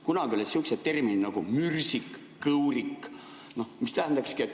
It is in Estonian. Kunagi olid sihukesed terminid nagu "mürsik" ja "kõurik".